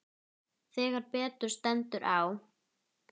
Þegar betur stendur á